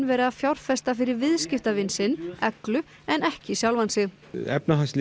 verið að fjárfesta fyrir viðskiptavin sinn Eglu en ekki sjálfa sig